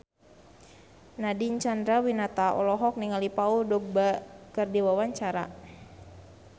Nadine Chandrawinata olohok ningali Paul Dogba keur diwawancara